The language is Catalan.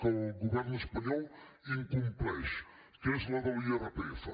que el govern espanyol incompleix que és la de l’irpf